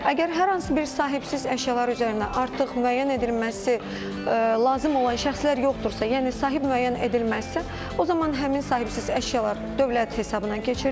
Əgər hər hansı bir sahibsiz əşyalar üzərində artıq müəyyən edilməsi lazım olan şəxslər yoxdursa, yəni sahib müəyyən edilməzsə, o zaman həmin sahibsiz əşyalar dövlət hesabına keçirilir.